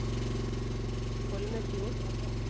Holmefjord